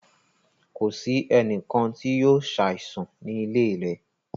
Kò sì ènìkàn tí yóò ṣàìsàn ní ilẹ̀ rẹ̀.